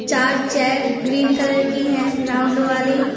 चार chair green colour की है राउंड वाली।